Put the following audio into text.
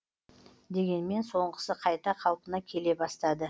дегенмен соңғысы қайта қалпына келе бастады